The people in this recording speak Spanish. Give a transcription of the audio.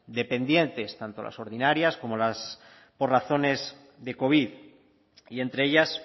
dependientes tanto las ordinarias como las por razones de covid y entre ellas